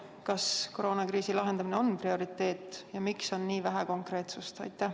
Kas koroonakriisi lahendamine on prioriteet ja miks on nii vähe konkreetsust?